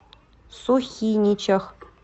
сухиничах